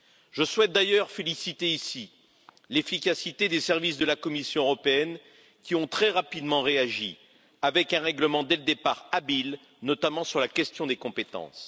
Je souhaite d'ailleurs féliciter, ici, l'efficacité des services de la Commission européenne, qui ont très rapidement réagi avec un règlement, dès le départ habile, notamment sur la question des compétences.